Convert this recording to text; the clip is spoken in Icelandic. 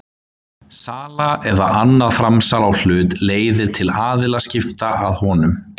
Sala eða annað framsal á hlut leiðir til aðilaskipta að honum.